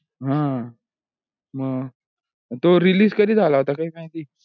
हा मग तो release कधी झाला होता काही माहिती हे का?